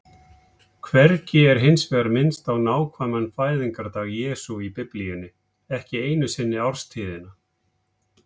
Hvergi er hins vegar minnst á nákvæman fæðingardag Jesú í Biblíunni, ekki einu sinni árstíðina.